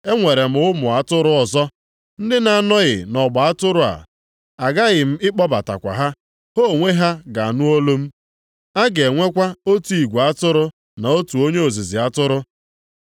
Enwere m ụmụ atụrụ ọzọ ndị na-anọghị nʼọgba atụrụ a. Aghaghị m ịkpọbatakwa ha. Ha onwe ha ga-anụ olu m, a ga-enwekwa otu igwe atụrụ na otu onye ọzụzụ atụrụ.